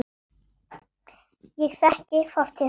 Ég þekki fortíð hennar.